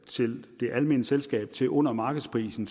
til det almene selskab til under markedsprisen